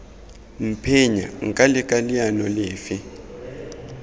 mphenya nka leka leano lefe